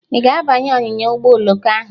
Ị ga-abanye ọnyịnya ụgbọ oloko ahụ?